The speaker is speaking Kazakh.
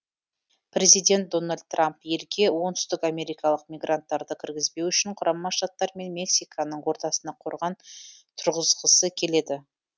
президент дональд трамп елге оңтүстікамерикалық мигранттарды кіргізбеу үшін құрама штаттар мен мексиканың ортасына қорған тұрғызғысы келеді